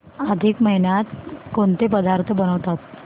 अधिक महिन्यात कोणते पदार्थ बनवतात